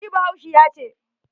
NI bahaushiya ce.